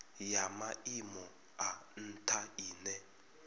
ya maimo a ntha ine